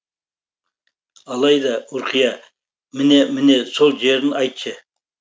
алайда ұрқия міне міне сол жерін айтшы